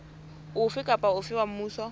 ofe kapa ofe wa mmuso